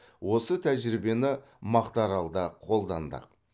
осы тәжірибені мақтааралда қолдандық